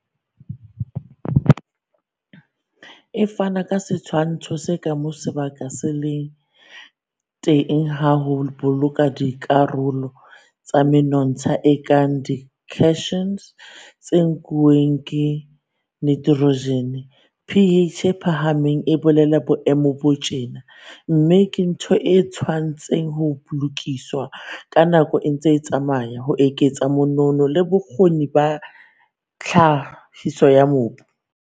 E fana ka setshwantsho sa ka moo sebaka se leng teng sa ho boloka dikarolo tsa menontsha e kang di-cations se nkuwang ke nitrojene. pH e phahameng e bolela boemo bo tjena, mme ke ntho e tshwanetseng ho lokiswa ha nako e ntse e tsamaya ho eketsa monono le bokgoni ba tlhahiso ya mobu.